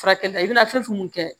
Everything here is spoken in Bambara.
Furakɛli la i bɛna fɛn fɛn min kɛ